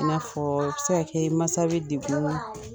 I n'a fɔ o bi se ka kɛ masa bɛ dekun ma